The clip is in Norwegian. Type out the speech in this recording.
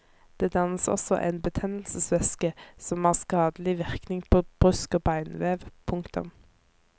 Det dannes også en betennelsesvæske som har skadelig virkning på brusk og benvev. punktum